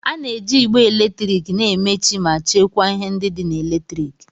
A na-eji igbe eletrik na-emechi ma chekwaa ihe ndị dị na eletriki.